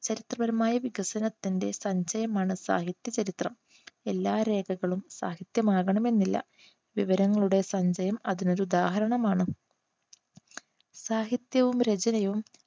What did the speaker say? ചരിത്രപരമായ വികസനത്തിന്റെ സഞ്ജയമാണ് സാഹിത്യ ചരിത്രം. എല്ലാ രേഖകളും സാഹിത്യം ആകണമെന്നില്ല. വിവരങ്ങളുടെ സഞ്ജയം അതിനൊരുദാഹരണമാണ്. സാഹിത്യവും രചനയും